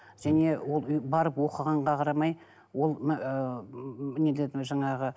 және ол барып оқығанға қарамай ол ы нелердің жаңағы